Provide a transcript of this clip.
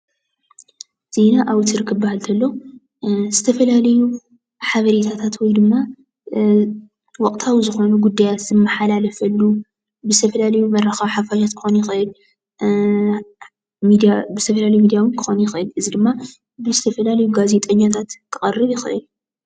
ዜና ኣውትር ክበሃል እንቶሎ ዝተፈላለዩ ሓበሬታት ወይ ድማ ወቅታዊ ዝኮኑ ጉዳያት ዝመሓላለፈሉ ብዝተፈላለዩ መራከቢ ሓፋሽ ክኾን ይኸእል እዩ። ብዝተፈላለዩ ሚድያ እውን ክኾን ይኸእል እዚ ድማ ብዝተፈላለዩ ጋዜጠኛታት ክቐርብ ይኸእል።